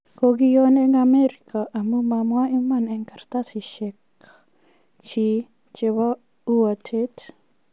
Kokioon eng Amerika amu ma mwa iman eng Kartasiyek chiik chebo uatet